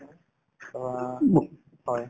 অ, হয়